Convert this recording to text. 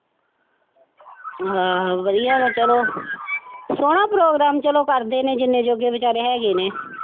ਆਹੋ ਵਧੀਆ ਨੇ ਚੱਲੋ ਸੋਹਣਾ ਪ੍ਰੋਗਰਾਮ ਚੱਲੋ ਕਰਦੇ ਨੇ ਜਿੰਨੇ ਯੋਗੇ ਵਿਚਾਰੇ ਹੈ ਗੇ ਨੇ।